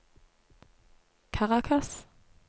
Caracas